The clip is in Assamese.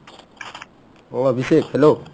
অ অভিষেক্, hello